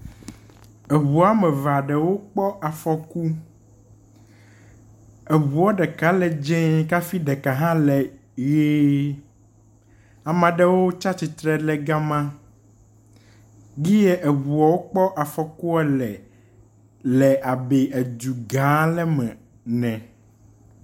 Eŋu woame eve aɖewo kpɔ afɔku. Eŋua ɖeka le dzɛ kafi ɖeka hã le ʋe. Ame aɖewo tsi atsitre ɖe gama. Gie eŋuawo kpɔ afɔkua le le abe edu gã aɖe me ene.